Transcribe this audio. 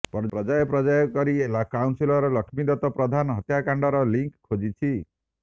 ପର୍ଯ୍ୟାୟ ପର୍ଯ୍ୟାୟ କରି କାଉନସିଲର ଲକ୍ଷ୍ମୀଦତ୍ତ ପ୍ରଧାନ ହତ୍ୟାକାଣ୍ଡର ଲିଙ୍କ୍ ଖୋଜିଛି